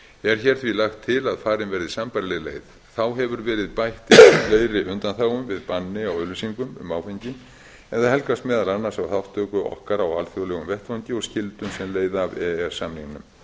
hér því lagt til að farin verði sambærileg leið þá hefur verið bætt við fleiri undanþágum við banni á auglýsingum á áfengi en það helgast meðal annars af þátttöku okkar á alþjóðlegum vettvangi og skyldum sem leiða af e e s